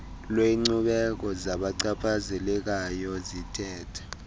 lwenkcubeko zabachaphazelekayo zithetha